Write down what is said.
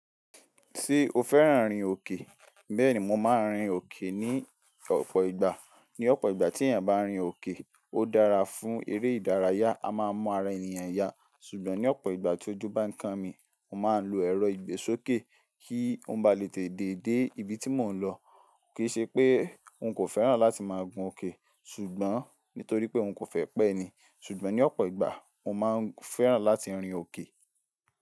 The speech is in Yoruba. Ṣé o fẹ́ràn rin òkè? Bẹ́ẹ̀ni, mo máa ń rin òkè ní ọ̀pọ̀ ìgbà. Ní ọ̀pọ̀ ìgbà tí èèyàn bá rin òkè, ó dára fún eré ìdárayá, a máa mu ara ènìyàn ya. Ṣùgbọ́n ní ọ̀pọ̀ ìgbà tí ojú bá ń kan mi, mo máa ń lo ẹ̀rọ ìgbésókè kí ùn ba lè tètè déé ibi tí mò ń lọ. Kì í ṣe pé n kò fẹ́ràn láti máa gun òkè, ṣùgbọ́n nítorí pé ùn kò fẹ́ pẹ́ ni. Ṣùgbọ́n ní ọ̀pọ̀ ìgbà, mo máa ń fẹ́ràn láti rin òkè.